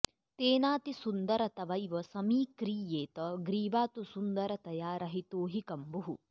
तेनातिसुन्दर तवैव समीक्रियेत ग्रीवा तु सुन्दरतया रहितो हि कम्बुः